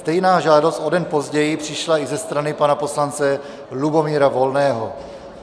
Stejná žádost o den později přišla i ze strany pana poslance Lubomíra Volného.